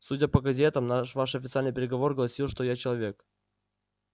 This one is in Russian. судя по газетам наш ваш официальный приговор гласил что я человек